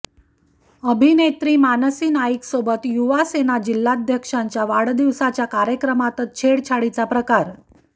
अभिनेत्री मानसी नाईकसोबत युवासेना जिल्हाध्यक्षांच्या वाढदिवसाच्या कार्यक्रमातच छेडछाडीचा प्रकार